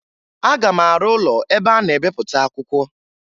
Aga m arụ ụlọ ebe a na-ebepụta akwụkwọ